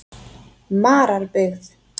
Mararbyggð